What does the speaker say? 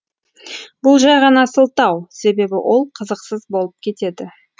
бұл жай ғана сылтау себебі ол қызықсыз болып кетеді